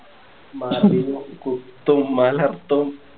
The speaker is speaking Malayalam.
കുത്തും മലർത്തും